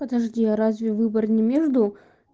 подожди а разве выбор не между